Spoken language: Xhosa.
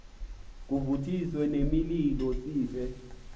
kuvuthiswe nemililo sife